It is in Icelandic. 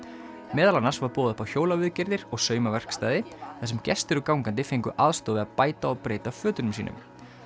meðal annars var boðið upp á hjólaviðgerðir og þar sem gestir og gangandi fengu aðstoð við að bæta og breyta fötunum sínum